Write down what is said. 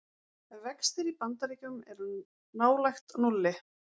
Vextir í Bandaríkjum er nálægt núlli